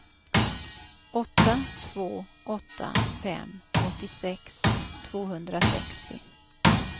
åtta två åtta fem åttiosex tvåhundrasextio